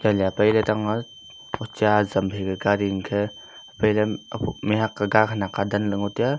yalI apailey etang ma a ocha azam phaika garI angkhe aphailey ophoh mihak aga e adamley ngo taiya.